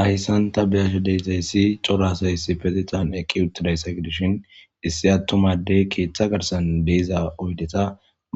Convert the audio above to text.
Ahessanta beyasha detayssi corasayssi petetan eqqi utiday saygedishin issi attumadey keeththa garsan deiza oydeta